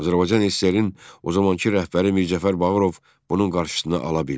Azərbaycan SSR-in o zamankı rəhbəri Mirzəcəf Bağırov bunun qarşısını ala bildi.